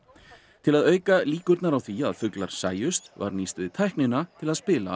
til að auka líkurnar á því að fuglar sæjust var nýst við tæknina til að spila